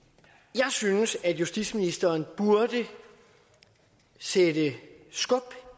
jeg synes at justitsministeren burde sætte skub